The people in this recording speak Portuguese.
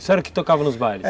Isso era o que tocava nos bailes?